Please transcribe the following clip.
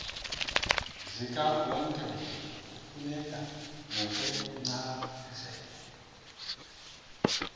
zikawonkewonke kufuneka ngokwencazelo